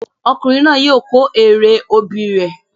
Ọkùnrin náà yóò kó èrè obì rẹ